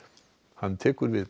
hann tekur við